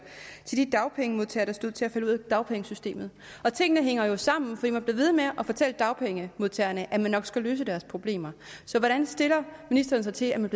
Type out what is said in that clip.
til de dagpengemodtagere der stod til at falde ud af dagpengesystemet og tingene hænger jo sammen for man bliver ved med at fortælle dagpengemodtagerne at man nok skal løse deres problemer så hvordan stiller ministeren sig til at man